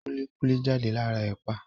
Kúlí kúlí jáde lára Ẹ̀pà